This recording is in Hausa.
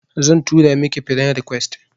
Zan tura miki friend request